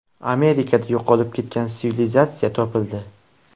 Amerikada yo‘qolib ketgan sivilizatsiya topildi.